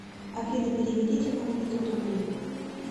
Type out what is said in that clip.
афина переведите маме пятьсот рублей